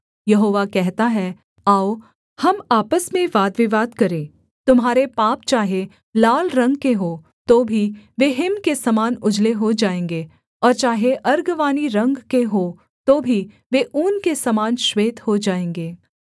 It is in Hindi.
यहोवा कहता है आओ हम आपस में वादविवाद करें तुम्हारे पाप चाहे लाल रंग के हों तो भी वे हिम के समान उजले हो जाएँगे और चाहे अर्गवानी रंग के हों तो भी वे ऊन के समान श्वेत हो जाएँगे